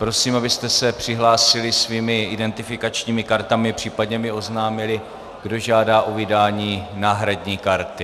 Prosím, abyste se přihlásili svými identifikačními kartami, případně mi oznámili, kdo žádá o vydání náhradní karty.